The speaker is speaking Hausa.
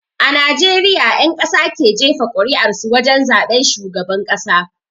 A najeriya ƴan ƙasa ke jefa kur'ar su wajen zaben shugaban ƙasa